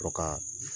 Sɔrɔ ka